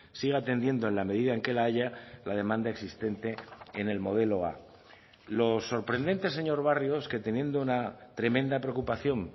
siga atendiendo en la medida en que la haya la demanda existente en el modelo a lo sorprendente señor barrio es que teniendo una tremenda preocupación